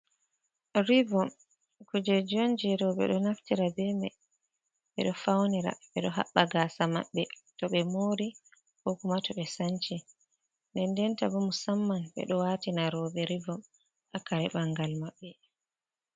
Rivom, kujeji on je roɓe ɗo naftira bemai ɓe ɗo faunira, ɓe ɗo haɓɓa gaasa maɓbe to ɓe mori, ko kuma to ɓe sanci, dendenta bo musamman ɓe do waatina roɓe rivom haa kare ɓangal maɓɓe.